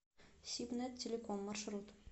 сибнет телеком маршрут